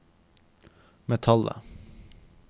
metallet